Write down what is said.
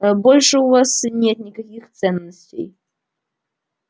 ээ больше у вас нет никаких ценностей